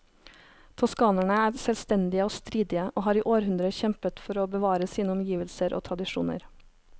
Toskanerne er selvstendige og stridige, og har i århundrer kjempet for å bevare sine omgivelser og tradisjoner.